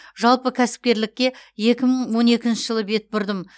жалпы кәсіпкерлікке екі мың он екінші жылы бет бұрдым